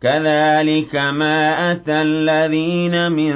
كَذَٰلِكَ مَا أَتَى الَّذِينَ مِن